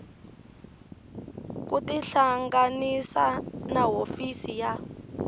ku tihlanganisa na hofisi ya